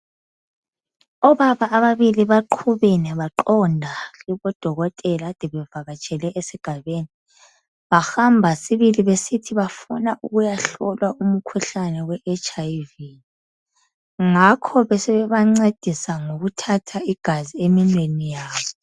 Obaba ababili baqhubene baqonda kubodokotela ade bevakatshele esigabeni bahamba sibili besithi bafuna ukuyahlolwa umkhuhlane we hiv ngakho besebebancedisa ukuthatha igazi eminweni yabo